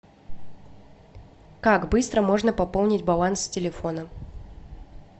как быстро можно пополнить баланс телефона